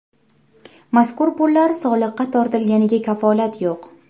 Mazkur pullar soliqqa tortilganiga kafolat yo‘q.